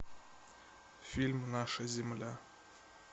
фильм наша земля